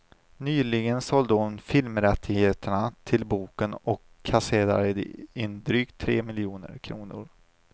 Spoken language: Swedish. Nyligen sålde hon filmrättigheterna till boken och kasserade in drygt tre miljoner kronor.